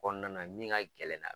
Kɔnɔna na min ga gɛlɛn na